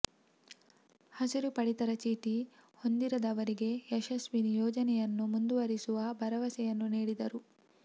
ಹಸಿರು ಪಡಿತರ ಚೀಟಿ ಹೊಂದಿದವರಿಗೆ ಯಶಸ್ವಿನಿ ಯೋಜನೆಯನ್ನು ಮುಂದುವರೆಸುವ ಭರವಸೆಯನ್ನು ನೀಡಿದರು